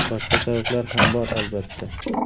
Boshqa sabablar ham bor, albatta.